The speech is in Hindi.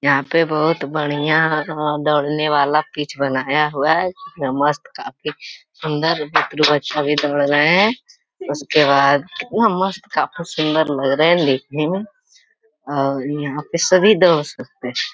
यहाँ पे बहुत बढ़िया दौड़ने वाला पिच बनाया हुआ है। यह मस्त काफी सुंदर बुतरू बच्चा भी दौड़ रहें हैं। उसके बाद उहाँ मस्त काफी सुंदर लग रहें हैं लेकिन और यहाँ पर सभी दौड़ सकते हैं।